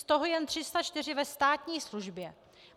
Z toho jen 304 ze státní službě.